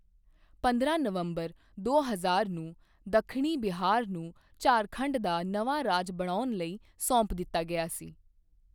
ਪੰਦਰਾਂ ਨਵੰਬਰ ਦੋ ਹਜ਼ਾਰ ਨੂੰ, ਦੱਖਣੀ ਬਿਹਾਰ ਨੂੰ ਝਾਰਖੰਡ ਦਾ ਨਵਾਂ ਰਾਜ ਬਣਾਉਣ ਲਈ ਸੌਂਪ ਦਿੱਤਾ ਗਿਆ ਸੀ।